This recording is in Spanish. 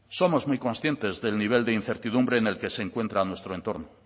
somos muy conscientes del nivel de incertidumbre en el que se encuentra nuestro entorno